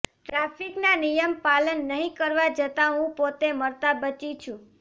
ટ્રાફિકના નિયમ પાલન નહિ કરવા જતાં હું પોતે મરતા બચી છું